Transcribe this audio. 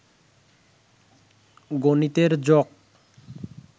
গনিতের joke